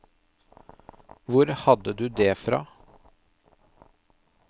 Hvor hadde du det fra?